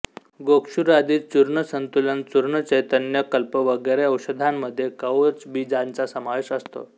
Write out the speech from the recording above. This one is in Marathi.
गोक्षुरादि चूर्ण संतुलन चूर्ण चैतन्य कल्प वगैरे औषधांमध्ये कवचबीजाचा समावेश असतो